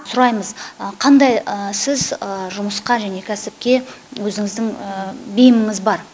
сұраймыз қандай сіз жұмысқа және кәсіпке өзіңіздің бейіміңіз бар